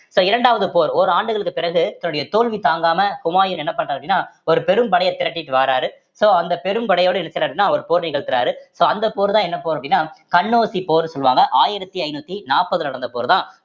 so இரண்டாவது போர் ஓராண்டுகளுக்கு பிறகு தன்னுடைய தோல்வி தாங்காம ஹுமாயூன் என்ன பண்றார் அப்படின்னா ஒரு பெரும் படைய திரட்டிட்டு வாராரு so அந்த பெரும் படையோட இருக்கிறாருன்னா அவர் போர் நிகழ்த்தறாரு so அந்த போர்தான் என்ன போர் அப்படின்னா கன்னௌசி போர் சொல்வாங்க ஆயிரத்தி ஐந்நூத்தி நாற்பதுல நடந்த போர்தான்